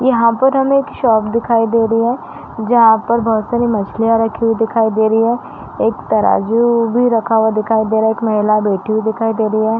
यहाँ पर हमें एक शॉप दिखाई दे रही है। जहाँ पर बहोत सारी मछलियाँ रखी हुवी दिखाई दे रही है। एक तराजू भी रखा हुआ दिखाई दे रहा है। एक महिला बैठी हुवी दिखाई दे रही है।